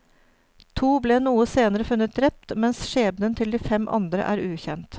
To ble noe senere funnet drept, mens skjebnen til de fem andre er ukjent.